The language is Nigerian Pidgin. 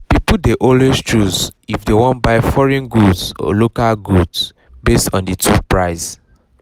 people dey always choose if dey wan buy foreign good or local goods based on the two price